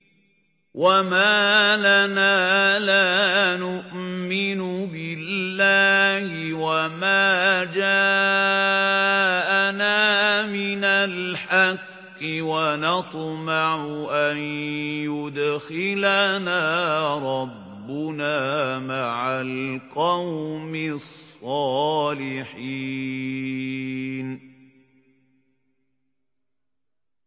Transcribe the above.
وَمَا لَنَا لَا نُؤْمِنُ بِاللَّهِ وَمَا جَاءَنَا مِنَ الْحَقِّ وَنَطْمَعُ أَن يُدْخِلَنَا رَبُّنَا مَعَ الْقَوْمِ الصَّالِحِينَ